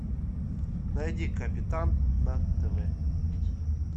найди капитан на тв